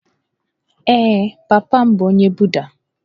Ee, papa m bụ onye Buda